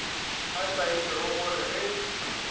a itaile go re ge